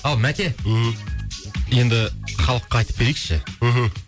ау мәке ммм енді халыққа айтып берейікші мхм